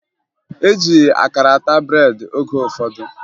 E ji akara ata breedị oge ụfọdụ